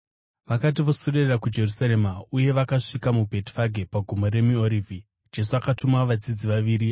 Vakati voswedera kuJerusarema uye vasvika muBhetifage pagomo reMiorivhi, Jesu akatuma vadzidzi vaviri,